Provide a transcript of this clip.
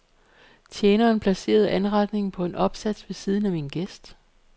Tjeneren placerede anretningen på en opsats ved siden af min gæst.